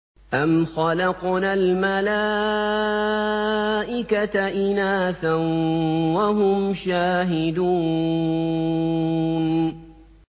أَمْ خَلَقْنَا الْمَلَائِكَةَ إِنَاثًا وَهُمْ شَاهِدُونَ